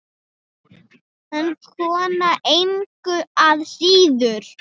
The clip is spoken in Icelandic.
En kona engu að síður.